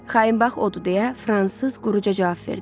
Xain bax odur deyə fransız quruja cavab verdi.